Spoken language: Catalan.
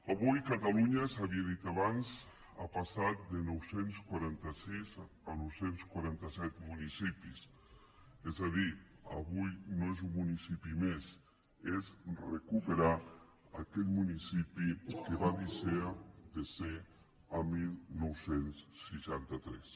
avui catalunya s’havia dit abans ha passat de nou cents i quaranta sis a nou cents i quaranta set municipis és a dir avui no és un municipi més és recuperar aquell municipi que va deixar de ser el dinou seixanta tres